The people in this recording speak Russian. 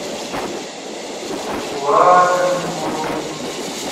лабинску